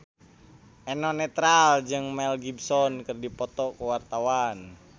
Eno Netral jeung Mel Gibson keur dipoto ku wartawan